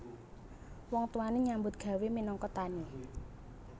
Wong tuwane nyambut gawé minangka tani